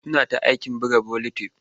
Suna ta aikin buga buletin.